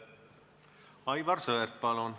Aivar Sõerd, palun!